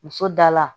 Muso da la